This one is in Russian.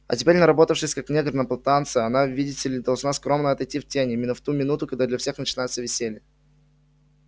а теперь наработавшись как негр на плантации она видите ли должна скромно отойти в тень именно в ту минуту когда для всех начинается веселье